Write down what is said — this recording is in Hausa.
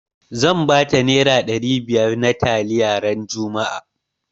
Zan bata nera ɗari biyar na taliya ran juma'a